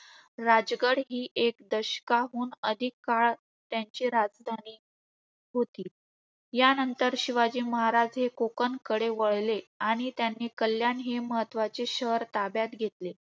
राजगढ हि एक दशकाहून अधिक काळ त्यांची राजधानी होती. ह्यानंतर शिवाजी महाराज कोकणकडे वळले आणि त्यांनी कल्याण हे महत्वाचे शहर ताब्यात घेतले.